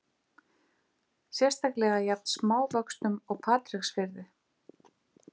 Sérstaklega jafn smávöxnum og Patreksfirði.